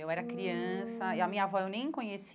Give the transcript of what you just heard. Hum Eu era criança e a minha avó eu nem conheci.